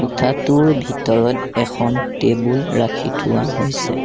কোঠাটোৰ ভিতৰত এখন টেবুল ৰাখি থোৱা হৈছে।